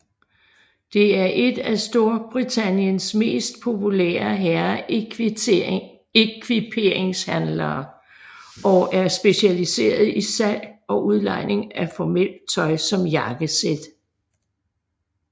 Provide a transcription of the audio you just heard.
Det er et af Storbritanniens mest populære herreekviperingshandlere og er specialiseret i salg og udlejning af formelt tøj som jakkesæt